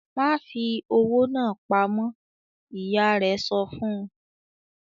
"Ma fi owó náa pamọ́!" Ìyá rẹ̀ sọ fun.